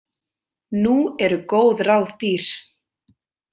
Nú eru góð ráð dýr.